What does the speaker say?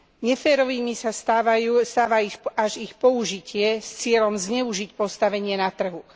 Neférovým sa stáva až ich použitie s cieľom zneužiť postavenie na trhu.